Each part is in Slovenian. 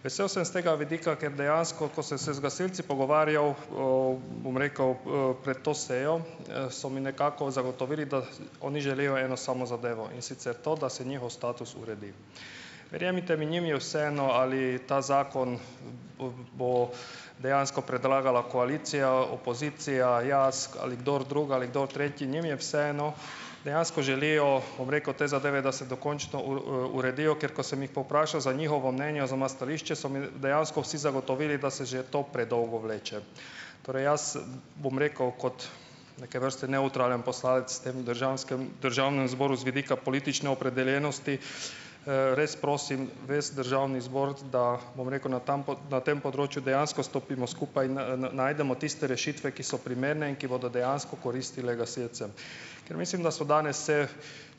Vesel sem s tega vidika, ker dejansko, ko sem se z gasilci pogovarjal, bom rekel, pred to sejo, so mi nekako zagotovili, da oni želijo eno samo zadevo, in sicer to, da se njihov status uredi. Verjemite mi, njim je vseeno, ali ta zakon bo dejansko predlagala koalicija, opozicija, jaz ali kdor drug, kdo tretji, njim je vseeno, dejansko želijo, bom rekel, te zadeve, da se dokončo uredijo, ker ko sem jih povprašal za njihovo mnenje oziroma stališče, so mi dejansko vsi zagotovili, da se že to predolgo vleče. Torej, jaz bom rekel kot neke vrste nevtralen poslanec v tem državksem državnem zboru z vidika politične opredeljenosti, res prosim res državni zbor, da, bom rekel, na tem na tem področju dejansko stopimo skupaj in najdemo tiste rešitve, ki so primerne in ki bodo dejansko koristile gasilcem. Ker mislim, da so danes se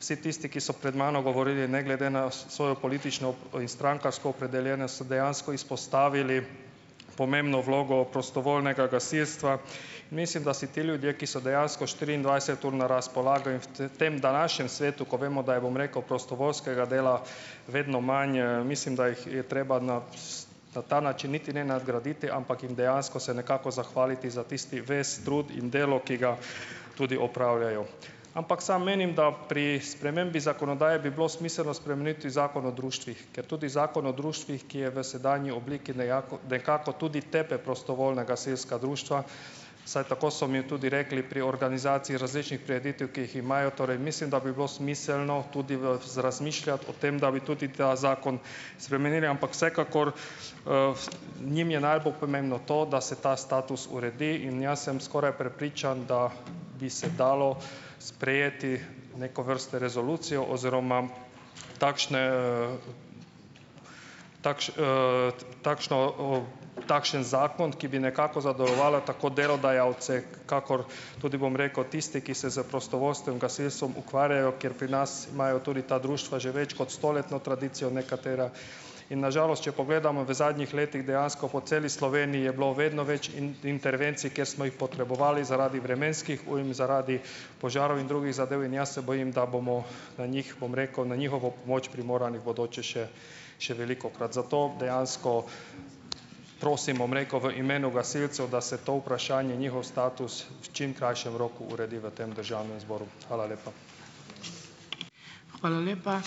vsi tisti, ki so pred mano govorili ne glede na svojo politično in strankarsko opredeljenost, so dejansko izpostavili pomembno vlogo prostovoljnega gasilstva, mislim, da si ti ljudje, ki so dejansko štiriindvajset ur na razpolago in v tem današnjem svetu, kot vemo, da je, bom rekel, prostovoljskega dela vedno manj, mislim, da je treba na na ta način niti ne nadgraditi, ampak jim dejansko se nekako zahvaliti za tisti ves trud in delo, ki ga tudi opravljajo. Ampak sam menim, da pri spremembi zakonodaje bi bilo smiselno spremeniti Zakon o društvih, ker tudi Zakon o društvih, ki je v sedanji obliki nejako nekako tudi tepe prostovoljna gasilska društva, vsaj tako so mi tudi rekli, pri organizaciji različnih prireditev, ki jih imajo. Torej mislim, da bi bilo smiselno tudi v razmišljati o tem, da bi tudi ta zakon spremenili. Ampak vsekakor, njim je najbolj pomembno to, da se ta status uredi in jaz sem skoraj prepričan, da bi se dalo sprejeti neko vrste resolucijo oziroma takšne, takšno, takšen zakon, ki bi nekako zadovoljeval tako delodajalce kakor tudi, bom rekel, tiste, ki se s prostovoljskim gasilstvom ukvarjajo, ker pri nas imajo tudi ta društva že več kot stoletno tradicijo nekatera. In na žalost, če pogledamo v zadnjih letih, dejansko po celi Sloveniji je bilo vedno več intervencij, kjer smo jih potrebovali zaradi vremenskih ujm, zaradi požarov in drugih zadev, in jaz se bojim, da bomo na njih, bom rekel, na njihovo pomoč primorani v bodoče še še velikokrat, zato dejansko prosim, bom rekel, v imenu gasilcev, da se to vprašanje, njihov status, v čim krajšem roku uredi v tem državnem zboru. Hvala lepa.